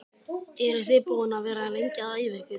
Eru þið búin að vera lengi að æfa ykkur?